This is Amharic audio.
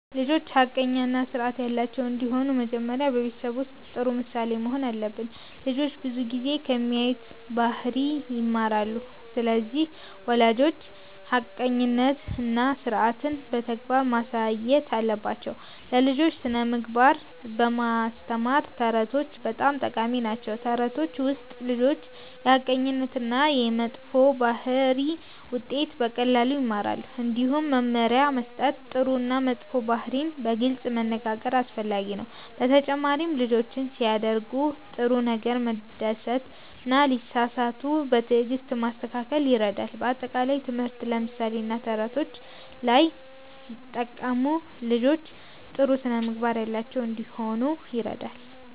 ልጆች ሐቀኛ እና ስርዓት ያላቸው እንዲሆኑ መጀመሪያ በቤተሰብ ውስጥ ጥሩ ምሳሌ መሆን አለብን። ልጆች ብዙ ጊዜ ከሚያዩት ባህሪ ይማራሉ። ስለዚህ ወላጆች ሐቀኝነትን እና ስርዓትን በተግባር ማሳየት አለባቸው። ለልጆች ስነ-ምግባር ለማስተማር ተረቶች በጣም ጠቃሚ ናቸው። በተረቶች ውስጥ ልጆች የሐቀኝነት እና የመጥፎ ባህሪ ውጤት በቀላሉ ይማራሉ። እንዲሁም መመሪያ መስጠት፣ ጥሩ እና መጥፎ ባህሪን በግልጽ መነጋገር አስፈላጊ ነው። በተጨማሪም ልጆችን ሲያደርጉ ጥሩ ነገር መደሰት እና ሲሳሳቱ በትዕግስት ማስተካከል ይረዳል። በአጠቃላይ ትምህርት፣ ምሳሌ እና ተረቶች አንድ ላይ ሲጠቀሙ ልጆች ጥሩ ስነ-ምግባር ያላቸው እንዲሆኑ ይረዳል።